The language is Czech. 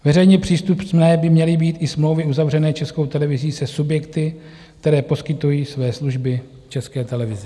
Veřejně přístupné by měly být i smlouvy uzavřené Českou televizí se subjekty, které poskytují své služby České televizi.